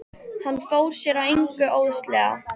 Hann fór sér að engu óðslega.